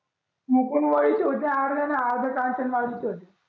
मुकंदवाडीचे होते आठ जण अर्धे कांचनवाडीचे होते